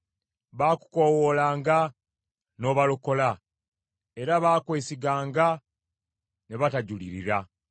Baakukoowoolanga n’obalokola; era baakwesiganga ne batajulirira.